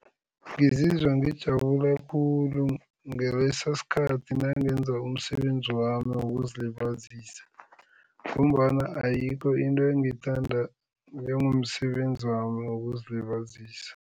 Ngizizwa ngijabula khulu ngaleso sikhathi nangenza umsebenzi wami wokuzilibazisa ngombana ayikho into engiyithanda njengomsebenzi wami wokuzilibazisa.